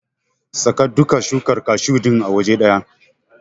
Saka duka shukar kashu din a waje ɗaya.